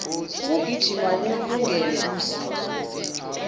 ukugijima kuwulungele umzimba